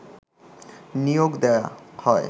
নিয়োগ দেয়া হয়